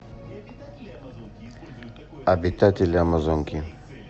обитатели амазонки